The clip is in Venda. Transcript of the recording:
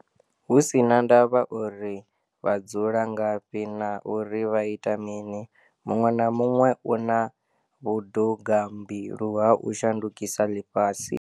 Hu si na ndavha uri vha dzula ngafhi na uri vha ita mini, muṅwe na muṅwe u na vhudugambilu ha u shandukisa ḽifhasi.